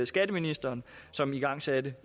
skatteministeren som igangsatte